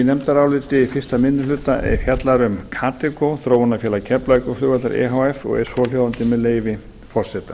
nefndaráliti fyrsti minni hluta fjallar um kadeco þróunarfélag keflavíkurflugvallar e h f og er svohljóðandi með leyfi forseta